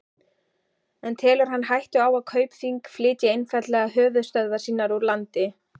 En telur hann hættu á að Kaupþing flytji einfaldlega höfuðstöðvar sínar úr landi?